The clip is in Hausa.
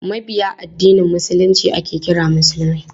Mabiya addinin Musulunci ake kira musulmai.